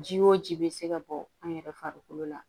Ji wo ji be se ka bɔ an yɛrɛ farikolo la